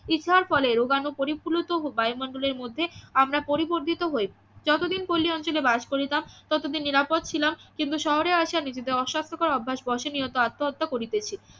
ইছার ফলে রোগানু পরিফুলত ও বায়মন্ডলের মধ্যে আমরা পরিবর্ধিত হয়ে যতদিন পল্লি অঞ্চলে বাস করিতাম ততদিন নিরাপদ ছিলাম কিন্তু শহরে আশা নিজেদের অস্বাস্থ্যকর অভ্যাস বশে নিয়ত আত্মহত্যা করিতেছি